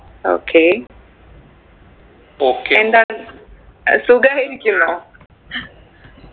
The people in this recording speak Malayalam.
okay എന്താണ് അഹ് സുഖായിരിക്കുന്നോ